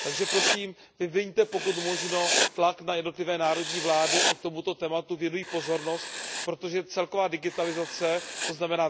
Takže prosím vyviňte, pokud možno, tlak na jednotlivé národní vlády, ať tomuto tématu věnují pozornost, protože celková digitalizace, tzn.